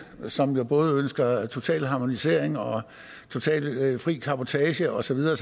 som både ønsker en total harmonisering og totalt fri cabotage og så videre